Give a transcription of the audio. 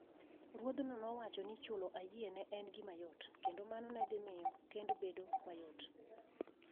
Ruodh'no nowacho ni chulo ayie ne en gima yot, kendo mano ne dhi miyo kend obed mayot.